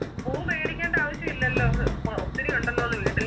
പൂ മേടിക്കേണ്ട ആവശ്യമില്ലല്ലോ ഏർ ഒത്തിരി ഉണ്ടല്ലോന്ന് വീട്ടില്